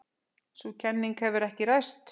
Sú kenning hefur ekki ræst.